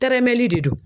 Tɛrɛmɛli de don